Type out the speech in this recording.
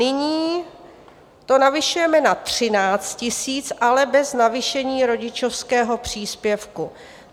Nyní to navyšujeme na 13 000, ale bez navýšení rodičovského příspěvku.